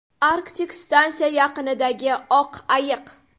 Arktik stansiya yaqinidagi oq ayiq.